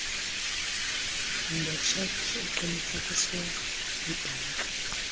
ngetshekhi eqinisekiswe yibhanki